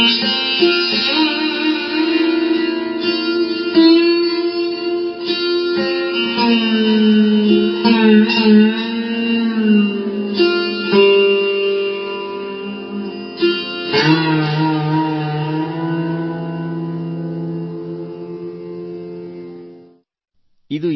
sound clip 21 seconds instrument sursingar artist Joydeep Mukherjee